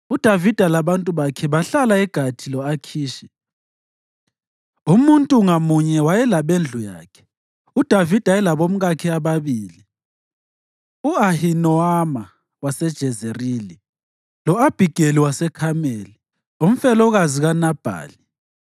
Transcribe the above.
UDavida labantu bakhe bahlala eGathi lo-Akhishi. Umuntu ngamunye wayelabendlu yakhe, uDavida elabomkakhe ababili: u-Ahinowama waseJezerili lo-Abhigeli waseKhameli, umfelokazi kaNabhali.